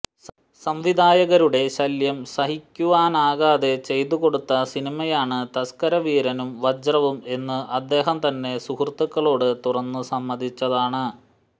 സംവിധായകരുടെ ശല്യം സഹിക്കുവാനാകാതെ ചെയ്തുകൊടുത്ത സിനിമയാണ് തസ്കരവീരനും വജ്രവും എന്ന് അദ്ദേഹം തന്നെ സുഹൃത്തുക്കളോട് തുറന്ന് സമ്മതിച്ചതാണ്